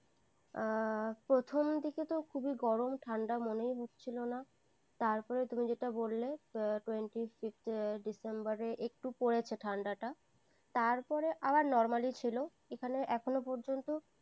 আ, প্রথম দিকে তো খুবই গরম, ঠান্ডা মনে হচ্ছিল না। তারপরে তুমি যেটা বললে, twenty six december রে একটু পড়েছে ঠান্ডাটা। তারপরে আবার normally ছিল, এখানে এখনো পর্যন্ত।